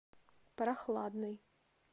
прохладный